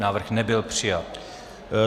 Návrh nebyl přijat.